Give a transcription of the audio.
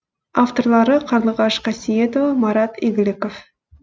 авторлары қарлығаш қасиетова марат игіліков